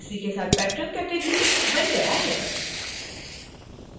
इसी के साथ patron category बन गया है